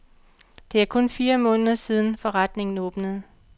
Det er kun fire måneder siden, forretningen åbnede.